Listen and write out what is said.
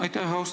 Aitäh!